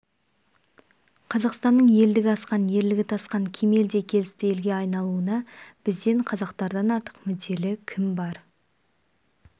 қазақстанның елдігі асқан ерлігі тасқан кемел де келісті елге айналуына бізден қазақтардан артық мүдделі кім бар